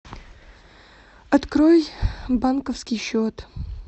открой банковский счет